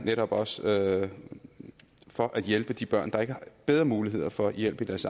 netop også for at hjælpe de børn der ikke har bedre muligheder for hjælp i deres